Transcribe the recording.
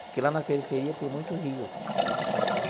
Porque lá na periferia tem muito rio. Uhum.